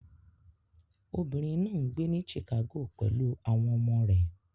Obìnrin náà ń gbé ní Chicago pẹ̀lú àwọn ọmọ rẹ̀